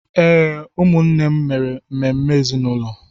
Ee, ụmụnne m mere ememe ezinụlọ.